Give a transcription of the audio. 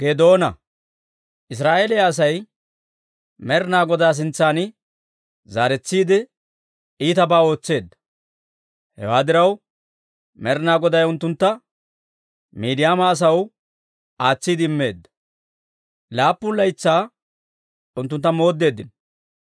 Israa'eeliyaa Asay Med'inaa Godaa sintsan zaaretsiide iitabaa ootseedda. Hewaa diraw, Med'inaa Goday unttuntta Miidiyaama asaw aatsiide immeedda. Laappun laytsaa unttuntta mooddeeddino.